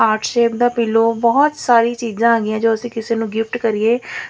Heart shape ਦਾ pillow ਬਹੁਤ ਸਾਰੀ ਚੀਜ਼ਾਂ ਹੈਗੀਆਂ ਜੋ ਅਸੀਂ ਕਿਸੇ ਨੂੰ ਗਿਫਟ ਕਰੀਏ।